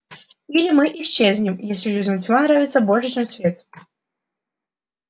или мы исчезнем если людям тьма нравится больше чем свет